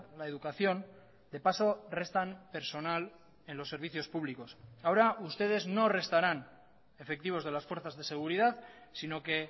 la educación de paso restan personal en los servicios públicos ahora ustedes no restarán efectivos de las fuerzas de seguridad sino que